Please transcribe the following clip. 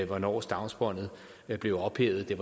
hvornår stavnsbåndet blev ophævet det